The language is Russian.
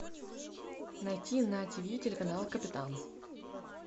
найти на тв телеканал капитан